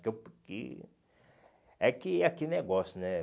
que eu que é que é que negócio, né?